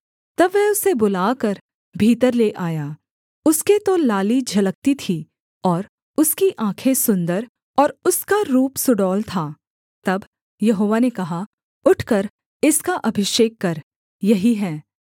तब वह उसे बुलाकर भीतर ले आया उसके तो लाली झलकती थी और उसकी आँखें सुन्दर और उसका रूप सुडौल था तब यहोवा ने कहा उठकर इसका अभिषेक कर यही है